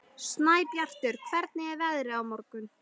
Snæbjartur, hvernig er veðrið á morgun?